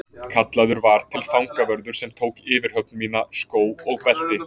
Kallaður var til fangavörður sem tók yfirhöfn mína, skó og belti.